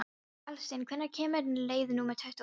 Valsteinn, hvenær kemur leið númer tuttugu og eitt?